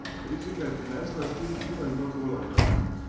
Rezika je prinesla štiri piva in dva golaža.